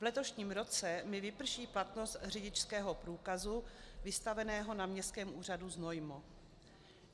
V letošním roce mi vyprší platnost řidičského průkazu vystaveného na Městském úřadu Znojmo.